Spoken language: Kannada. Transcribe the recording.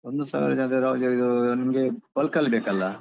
ಒಂದು ಸಾವಿರ ಜನರಿಗೆ ಇದು ನಿಮ್ಗೆ bulk ಅಲ್ಲಿ ಬೇಕಲ್ಲ.